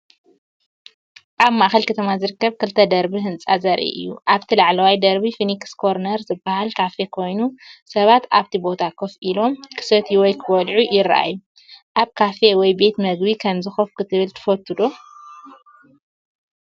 ኣብ ማእከል ከተማ ዝርከብ ክልተ ደርቢ ህንጻ ዘርኢ እዩ። ኣብቲ ላዕለዋይ ደርቢ "ፊኒክስ ኮርነር" ዝበሃል ካፌ ኮይኑ፡ ሰባት ኣብቲ ቦታ ኮፍ ኢሎም ክሰትዩ ወይ ክበልዑ ይረኣዩ። ኣብ ካፈ ወይ ቤት ምግቢ ከምዚ ኮፍ ክትብልን ትፈቱ ዶ?